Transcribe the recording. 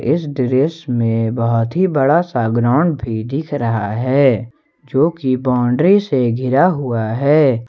इस दृश्य में बहोत ही बड़ा सा ग्राउंड भी दिख रहा है जो कि बाउंड्री से घिरा हुआ है।